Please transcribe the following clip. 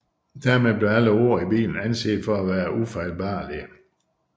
Dermed blev alle ord i Bibelen anset for at være ufejlbarlige